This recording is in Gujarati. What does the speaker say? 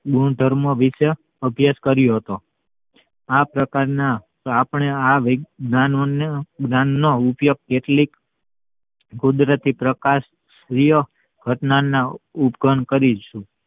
ગુણધર્મો વિષે અભ્યાસ કર્યો હતો આ પ્રકાર ના આપણે આ જ્ઞાન નો ઉપયોગ કેટલીક કુદરતી પ્રકાશ ઘટનાના ઉકરણ કરીયે